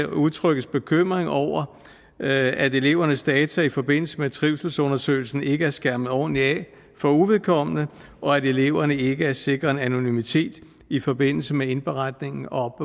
udtrykkes bekymring over at elevernes data i forbindelse med trivselsundersøgelsen ikke er skærmet overordentlig af for uvedkommende og at eleverne ikke er sikret en anonymitet i forbindelse med indberetningen og